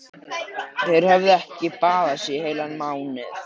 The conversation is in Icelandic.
Þeir höfðu ekki baðað sig í heilan mánuð.